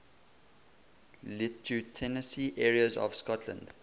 lieutenancy areas of scotland